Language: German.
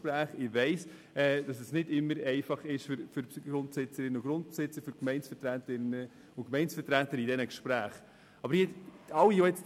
Ich weiss, dass diese Gespräche für Grundeigentümerinnen und -eigentümer, für Gemeindevertreterinnen und Gemeindevertreter nicht immer einfach sind.